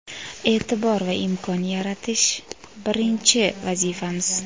e’tibor va imkon yaratish — birinchi vazifamiz!.